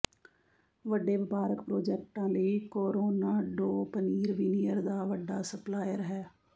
ਵੱਡੇ ਵਪਾਰਕ ਪ੍ਰਾਜੈਕਟਾਂ ਲਈ ਕੋਰੋਨਾਡੋ ਪਨੀਰ ਵਿਨੀਅਰ ਦਾ ਵੱਡਾ ਸਪਲਾਇਰ ਹੈ